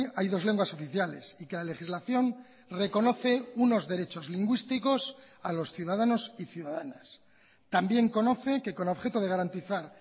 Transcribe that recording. hay dos lenguas oficiales y que la legislación reconoce unos derechos lingüísticos a los ciudadanos y ciudadanas también conoce que con objeto de garantizar